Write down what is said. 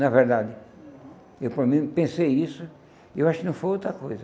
Na verdade, uhum, eu para mim pensei isso, eu acho que não foi outra coisa.